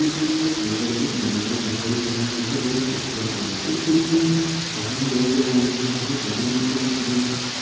इस में प्राकृतिक नजारा दिखाई दे रहा है जो बहुत खुबसूरत लग रहा है| इस चित्र में पहाड़ नजर आ रहे में जो पहाड़ काले रंग के दिख रहे में।